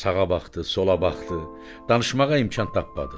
Sağa baxdı, sola baxdı, danışmağa imkan tapmadı.